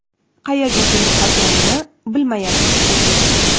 Qayerga kelib qolganini bilmayapti, shekilli.